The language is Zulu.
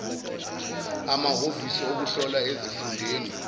amahhovisi okuhlola asezifundeni